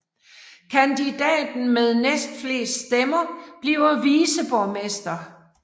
Kandidaten med næstflest stemmer bliver viceborgmester